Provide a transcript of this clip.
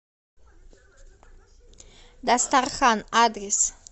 дастархан адрес